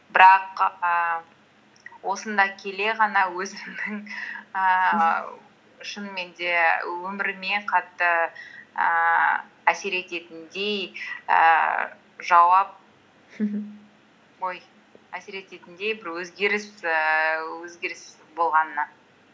бірақ ііі осында келе ғана өзімнің ііі шынымен де өміріме қатты ііі ой әсер ететіндей бір ііі өзгеріс болғанына